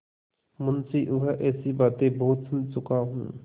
मुंशीऊँह ऐसी बातें बहुत सुन चुका हूँ